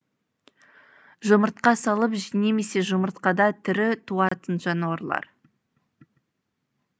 жұмыртқа салып немесе жұмыртқада тірі туатын жануарлар